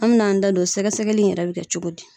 An bɛn'an da don sɛgɛsɛgɛli in yɛrɛ bɛ kɛ cogo di.